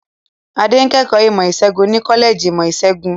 Adé ń kẹ́kọ̀ọ́ ìmọ̀-ìṣègùn ní kọ́lẹ́jì ìmọ̀-ìṣègùn.